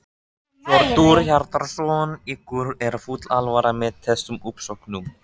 Hjörtur Hjartarson: Ykkur er full alvara með þessum uppsögnum?